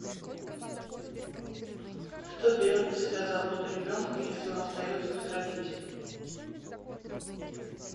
кто берет на себя заботу ребенка если он остается без родителей